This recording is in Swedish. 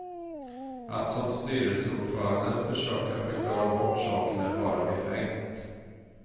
Att som styrelseordföranden försöka förklara bort saken är bara befängt.